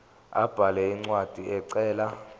abhale incwadi ecela